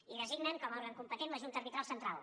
i designen com a òrgan competent la junta arbitral central